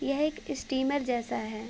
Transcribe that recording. यह एक स्टीमर जैसा है।